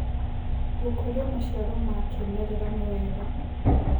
Gũkũrĩa macĩaro ma kĩmerera nĩ wega